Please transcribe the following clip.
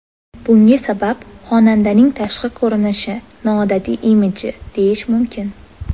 Bunga sabab xonandaning tashqi ko‘rinishi, noodatiy imidji, deyish mumkin.